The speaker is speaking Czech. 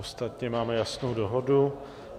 Ostatně máme jasnou dohodu.